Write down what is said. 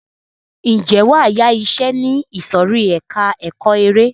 Ǹjẹ́ wàá yá iṣẹ ní ìsòrí ẹka ẹ̀kọ́ eré.